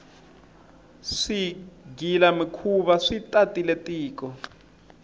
swigila mikhuva swi tatile tiko